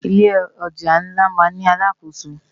Ilé òjá nlá má n ni àlákósó